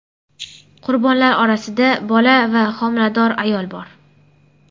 Qurbonlar orasida bola va homilador ayol bor.